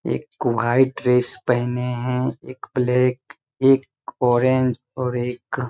एक white dress पहने है एक ब्लैक एक ऑरेंज और एक--